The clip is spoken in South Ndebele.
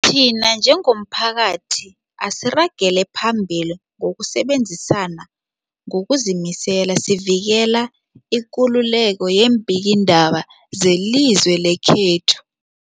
Thina njengomphakathi, asiragele phambili ngokusebenzisana ngokuzimisela sivikele ikululeko yeembikiindaba zelizwe lekhethu.